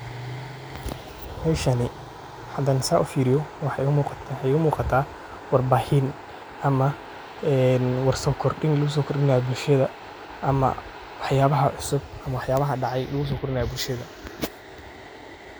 Meshanii hada saa ufiriyo waxay uu muuqataa warbaahin ama een warsan kordhin lagu soo kordhin lahaa bulshada ama waxyaabaha cusub ama waxyaabaha dhacay lugu soo kordinayo bulshada.